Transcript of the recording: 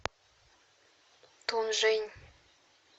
тунжэнь